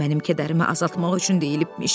Mənim kədərimi azaltmaq üçün deyilibmiş.